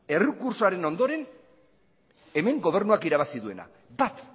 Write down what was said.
errekurtsoaren ondoren hemen gobernuak irabazi duena bat